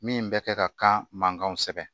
Min bɛ kɛ ka kan mankanw sɛbɛn